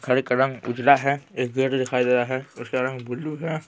घर का रंग उजला है एक गेट दिखाई दे रहा है उसका रंग बुलु है।